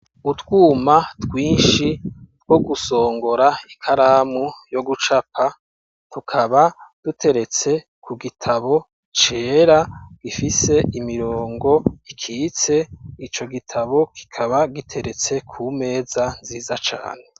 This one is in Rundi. Utwuma twinshi, two gusongora ikaramu yo gucapa, tukaba duteretse ku gitabo, cera, gifise imirongo ikitse; ico gitabo, kikaba giteretse ku meza, nziza cane.